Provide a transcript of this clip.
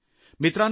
मित्रांनो